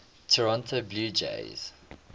toronto blue jays